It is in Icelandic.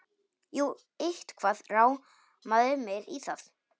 Jú, eitthvað rámaði mig í það.